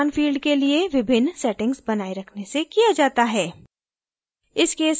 यह समान field के लिए विभिन्न् settings बनाये रखने से किया जाता है